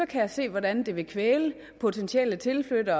kan jeg se hvordan det vil kvæle en potentiel tilflytning